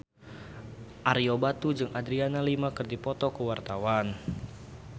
Ario Batu jeung Adriana Lima keur dipoto ku wartawan